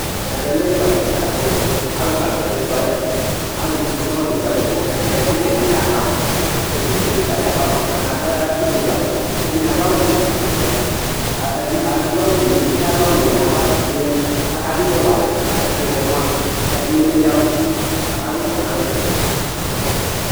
Ɛvɛ lɛ ekualɛ kika ku alukaluka l' ekualɛ, alufue sɔ̃n l'ekualɛ n'ɛvɛ, k'ɛklitɛ dini aba ,ɛklitɛ kika di aba mua k'aka du ifɔzũalɛ, ɛdini adu awù ɔvɛ, adu awù fue n'uti ɔwɛ n'ava yɔ yadu k'aka du ifɔwalɛ, ku ɛklitɛ mua ɛdini emli yavù k'aka wa ifɔnalɛ